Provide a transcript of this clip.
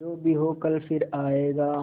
जो भी हो कल फिर आएगा